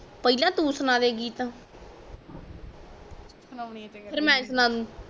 ਪਹਿਲਾ ਤੂੰ ਸੁਣਾ ਦੇ ਗੀਤ ਫੇਰ ਮੈਂ ਸੁਣਾ ਦੁ